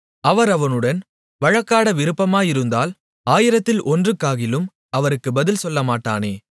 அவர் அவனுடன் வழக்காட விருப்பமாயிருந்தால் ஆயிரத்தில் ஒன்றுக்காகிலும் அவருக்கு பதில் சொல்லமாட்டானே